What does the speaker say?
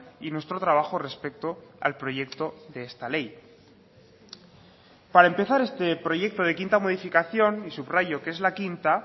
y nuestro trabajo respecto al proyecto de esta ley para empezar este proyecto de quinta modificación y subrayo que es la quinta